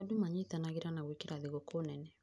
Andũ manyitanagĩra na gwĩkĩra thigũkũ nene